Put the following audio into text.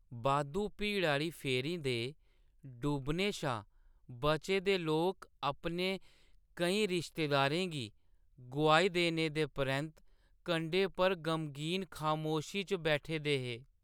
बाद्धू भीड़ा आह्‌ली फेरी दे डुब्बने शा बचे दे लोक अपने केईं रिश्तेदारें गी गोआई देने दे परैंत्त कंढे पर गमगीन खामोशी च बैठे दे हे।